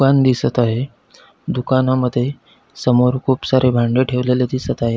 पान दिसत आहे दुकानामध्ये समोर खुप सारे भांड ठेवलेले दिसत आहे.